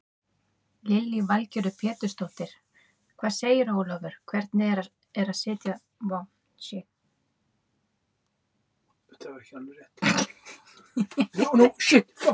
Lillý Valgerður Pétursdóttir: Hvað segirðu Ólafur, hvernig er að sitja svo í bílnum?